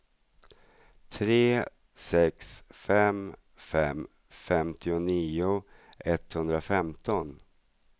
tre sex fem fem femtionio etthundrafemton